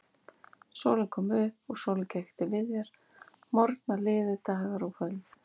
Sólin kom upp og sólin gekk til viðar, morgnar liðu, dagar og kvöld.